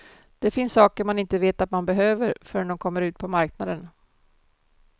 Det finns saker man inte vet att man behöver förrän de kommer ut på marknaden.